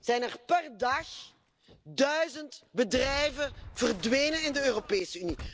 zijn er per dag duizend bedrijven verdwenen in de Europese Unie.